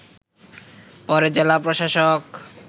পরে জেলা প্রশাসক